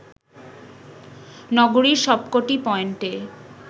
নগরীর সবকটি পয়েন্টে